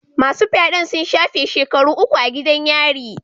Masu fyaden sun shafe shekaru uku a gidan yari.